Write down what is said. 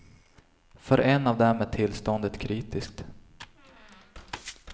För en av dem är tillståndet kritiskt.